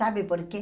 Sabe por quê?